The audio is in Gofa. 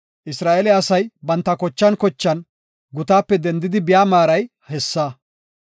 Isra7eele asay banta zerethan zerethan gutaape dendidi biya maaray hessa.